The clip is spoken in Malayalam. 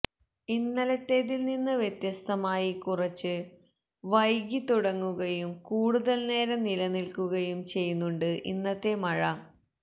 ഇന്നലത്തേതിൽ നിന്ന് വ്യത്യസ്ഥമായി കുറച്ച് വൈകിത്തുടങ്ങുകയും കൂടുതൽ നേരം നിലനിൽക്കുകയും ചെയ്യുന്നുണ്ട് ഇന്നത്തെ മഴ